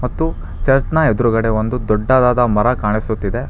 ಮತ್ತು ಚರ್ಚ್ನ ಎದ್ರುಗಡೆ ಒಂದು ದೊಡ್ಡದಾದ ಮರ ಕಾಣಿಸುತ್ತಿದೆ.